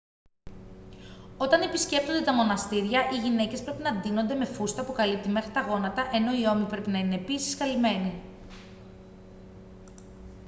όταν επισκέπτονται τα μοναστήρια οι γυναίκες πρέπει να ντύνονται με φούστα που καλύπτει μέχρι τα γόνατα ενώ οι ώμοι πρέπει να είναι επίσης καλυμμένοι